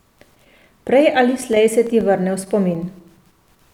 Prej ali slej se ti vrne v spomin.